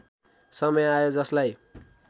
समय आयो जसलाई